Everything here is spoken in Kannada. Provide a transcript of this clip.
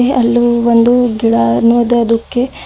ಹೇ ಅಲ್ಲು ಒಂದು ಗಿಡ ನೋದೋದುಕ್ಕೆ--